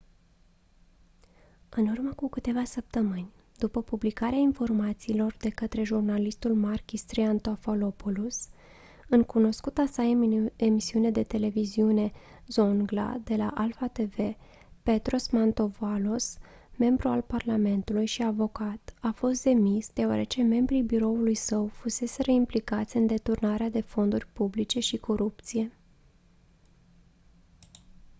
în urmă cu câteva săptămâni după publicarea informațiilor de către jurnalistul makis triantafylopoulos în cunoscuta sa emisiune de televiziune «zoungla» de la alpha tv petros mantouvalos membru al parlamentului și avocat a fost demis deoarece membrii biroului său fuseseră implicați în deturnare de fonduri publice și corupție.